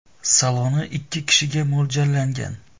Saloni ikki kishiga mo‘ljallangan.